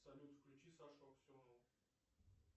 салют включи сашу аксенову